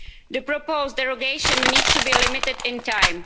The proposed derogation needs to be limited in time.